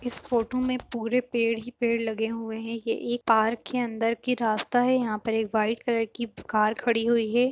इस फ़ोटू में पूरे पेड़ ही पेड़ लगे हुए हैं ये एक पार्क के अंदर का रास्ता है यहाँ पर एक वाइट कलर की कार खड़ी हुई है ।